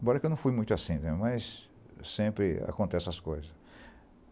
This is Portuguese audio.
Embora que eu não fui muito assim né, mas sempre acontecem essas coisas.